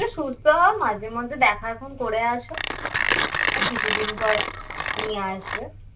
তুমি একটু সুস্থ হও মাঝে মাঝে দেখা করে আসো কিছুদিন পর নিয়ে আসবে